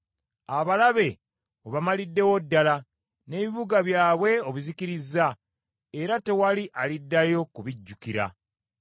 Abalabe obamaliddewo ddala, n’ebibuga byabwe obizikirizza, era tewali aliddayo kubijjukira.